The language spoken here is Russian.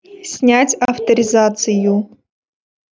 снять авторизацию